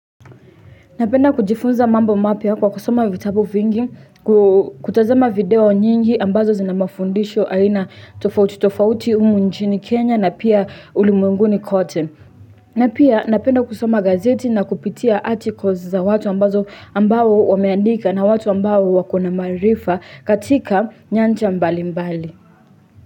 Napenda kujifunza mambo mapya kwa kusoma vitabu vingi kutazama video nyingi ambazo zina mafundisho aina tofauti tofauti umu nchini Kenya na pia ulimwenguni kote. Napenda kusoma gazeti na kupitia articles za watu ambazo ambao wameandika na watu ambao wako na maarifa katika nyanja mbali mbali.